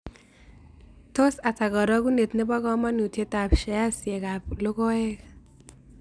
Tos' ata karogunet ne po kamanutietap sheaisiekap logoeek